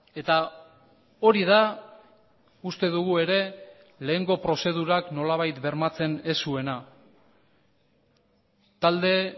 eta hori da uste dugu ere lehengo prozedurak nolabait bermatzen ez zuena talde